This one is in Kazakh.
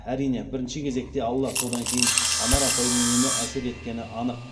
әрине бірінші кезекте алла содан кейін анар апайдың емі әсер еткені анық